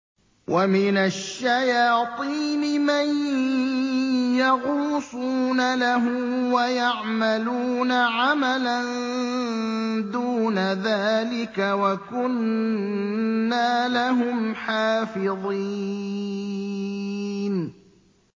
وَمِنَ الشَّيَاطِينِ مَن يَغُوصُونَ لَهُ وَيَعْمَلُونَ عَمَلًا دُونَ ذَٰلِكَ ۖ وَكُنَّا لَهُمْ حَافِظِينَ